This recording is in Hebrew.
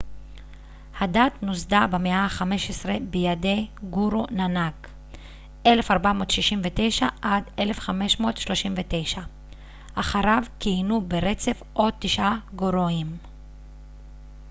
הדת נוסדה במאה ה-15 בידי גורו נאנאק 1469 - 1539. אחריו כיהנו ברצף עוד תשעה גורואים